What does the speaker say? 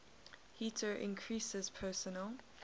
heater increases personal